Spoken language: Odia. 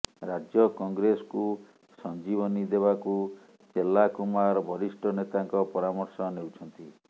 ରାଜ୍ୟ କଂଗ୍ରେସକୁ ସଂଜୀବନୀ ଦେବାକୁ ଚେଲ୍ଲାକୁମାର ବରିଷ୍ଠ ନେତାଙ୍କ ପରାମର୍ଶ ନେଉଛନ୍ତି